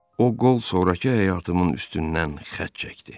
O qol sonrakı həyatımın üstündən xətt çəkdi.